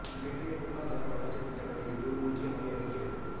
இன்றைய பொருளாதார வளர்ச்சியல் திட்டங்களில் இது ஒரு முக்கிய பங்கை வகிக்கிறது